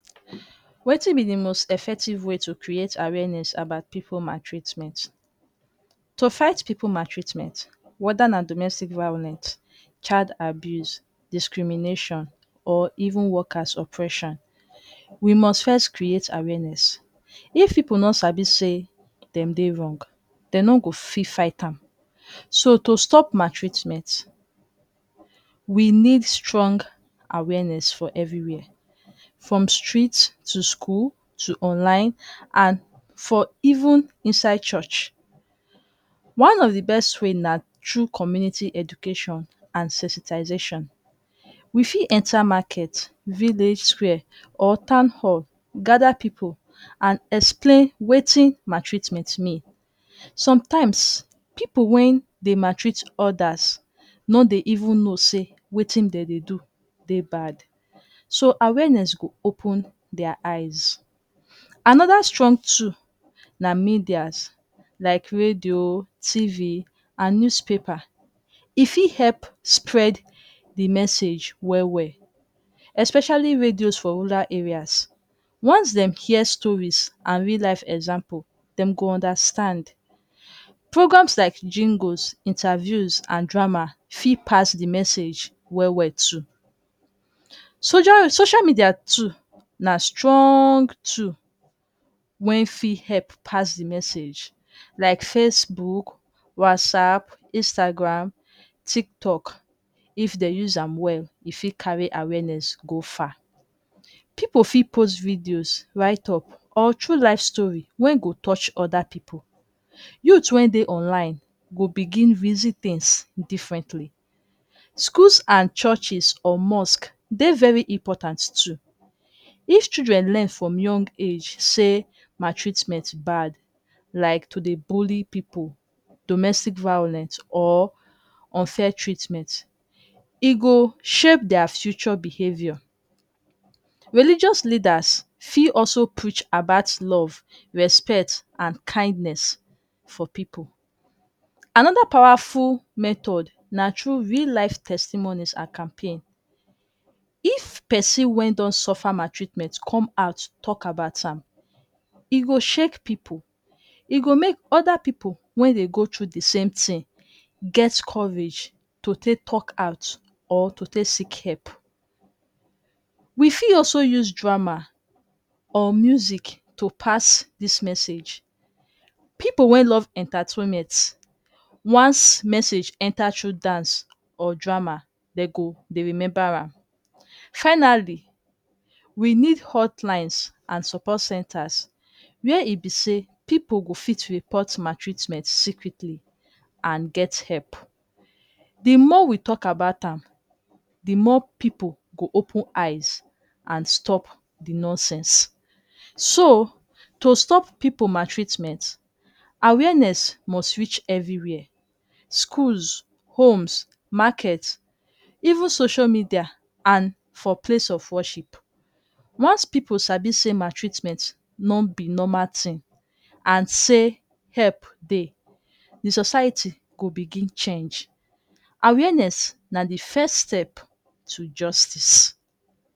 Wetin be the most effective way to crihate awenes abat pipu matritment, to fight pipu matreatreatment, woda na domestic violence ,child abiuse, discrimination, or even workers oppression, we must first crihate awenes, if pipu no sabi say dem Dey wrong, dem no go fit fight am, so to stop matreitment we nid strong awenes, for strit, for skul, for online and for even insyd church, one of the best way na thru community education and sensitization, we fit enter market ,village square or tawn hall ,gather pipu and explain Wetin maltreatment mean, sometimes pipu wen Dey matreat others no Dey even know say Wetin dem Dey do Dey bad, so awenes go open their eyes, another strong tool na medias like radio, Tv and newspaper,e fit help spread the message well well, especially radios for rural areas, once dem hear stories and real life emxamples dem go understand, programs like jingles, intaviews and drama fit pass the message well well too, socio social medias too na strong tool wen fit help pass the message like face book ,WhatsApp, instagram, Tiltok, if dem use am well e fit carry awenes go far, pipu fit post videos, write up or thru life story wen go touch oda pipu, youth wey Dey online go begin reason Tins differently, schools and churches or mosque ,Dey very important too, if children learn from young age say maltreatment bad like to Dey bully pipu, domestic violence, or unfair treatment, e go shape their future behaviors, religious leaders fit also preach abat love respect and kindness for pipu, anather powerful method na tru real life testimonies and campaign, if person wey don suffer mat-treatment come out to talk about am,e go shake pipu,e go make oda pipu wey Dey go thru the same tin, get courage to take talk at or to take seek help, we fit also use drama or music to take pass this message ,pipu wey love entatument, wans message enta thru dance or drama dem go Dey remember am, finally we need hotlines and support centers where e be say pipu go fit report maltreatments secretly and get help, the more we talk about am the more pipu go open eyes and stop the nonsense, so to stop pipu maltreatment awenes must reach everywhere schools, homes, markets, even social media and for place of worship, wans pipu sabi say maltreatment no be normal thing and say help Dey the society go bigin change, awenes na the first step to justice